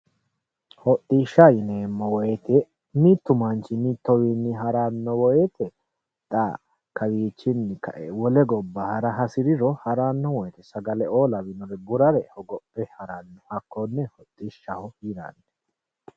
Hodishsha yineemmo woyte mitu manchi mituwinni ha'rano woyte xa kawichinni kae wole gobba ha'ra hasiriro ha'rano woyte sagaleo lawinore burare hogophe ha'rano hakkone hodhishshaho yinnanni.